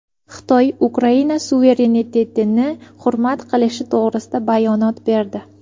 Xitoy Ukraina suverenitetini hurmat qilishi to‘g‘risida bayonot berdi.